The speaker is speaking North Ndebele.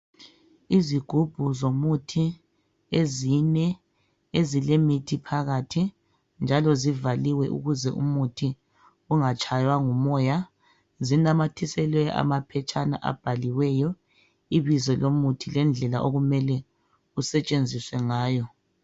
Izigubhu zomuthi ezine ezilemithi phakathi njalo zivaliwe ukuze umuthi ungatshaywa ngumoya. Zinamathiselwe amaphetshana abhaliweyo ibizo lomuthi lendlela okumele usetshenziswe ngayo.